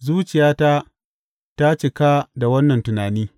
Zuciyata ta cika da wannan tunani!